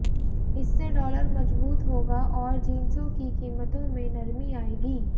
इससे डॉलर मजबूत होगा और जिंसों की कीमतों में नरमी आएगी